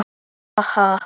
Ha ha.